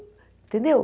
Entendeu?